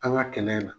An ka kɛnɛ in na